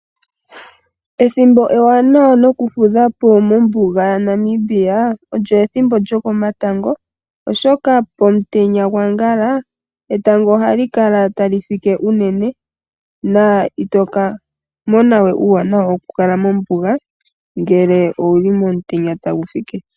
Ethimbo ewanawa noku fudhapo mombuga ya Namibia olyo ethimbo lyokomatango. Oshoka pomutenya gwaankala etango ohali kala tali fike unene, na itoka monawe uuwanawa wokukala mombuga ngele owuli momutenya tagu fike.